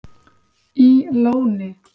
í Lóni